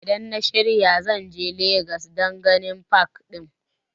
Idan na shirya zan je legas dan ganin pak ɗin